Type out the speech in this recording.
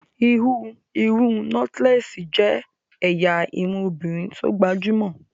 ìhun irun nọ́tílẹ́ẹ́sì jẹ́ ẹ̀yà irun obìnrin tó gbajúmọ̀